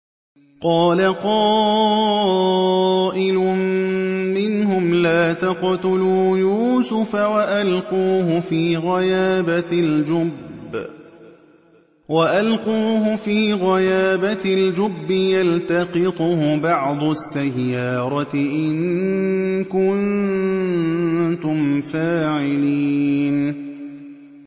قَالَ قَائِلٌ مِّنْهُمْ لَا تَقْتُلُوا يُوسُفَ وَأَلْقُوهُ فِي غَيَابَتِ الْجُبِّ يَلْتَقِطْهُ بَعْضُ السَّيَّارَةِ إِن كُنتُمْ فَاعِلِينَ